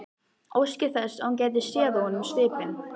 Óski þess að hún gæti séð á honum svipinn.